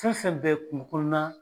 Fɛn fɛn bɛ kunkɔɔna